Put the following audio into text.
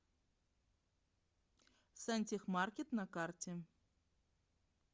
сантехмаркет на карте